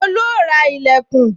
Tolu ó ra ìlẹ̀kùn